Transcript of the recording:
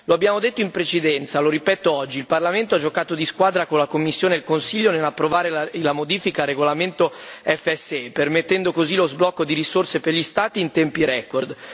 Lo abbiamo detto in precedenza, lo ripeto oggi il Parlamento ha fatto un gioco di squadra con la Commissione e il Consiglio nell'approvare la modifica al regolamento FSE, permettendo così lo sblocco di risorse per gli Stati in tempi record.